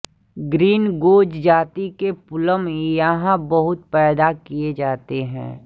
green goes जाति के plum यहाँ बहुत पैदा किया जाते हैं